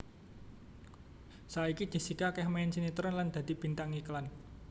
Saiki Jessica akéh main sinetron lan dadi bintang iklan